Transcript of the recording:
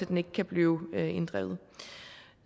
den ikke kan blive inddrevet